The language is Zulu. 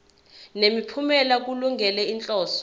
nemiphumela kulungele inhloso